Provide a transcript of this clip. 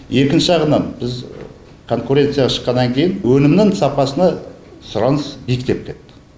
екінші жағынан біз конкуренцияға шыққаннан кейін өнімнің сапасына сұраныс биіктеп кетті